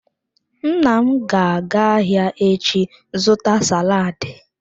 Nna m ga-aga ahia echi zuta saladi.